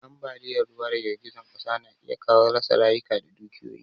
Ambaliyan ruwa da girgizar ƙasa na iya kawo rasa rayuka da dukiyoyi